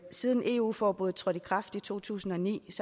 siden eu forbuddet trådte i kraft i to tusind og ni